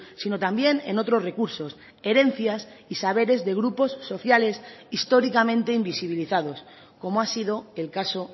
sino también en otros recursos herencias y saberes de grupos sociales históricamente invisibilizados como ha sido el caso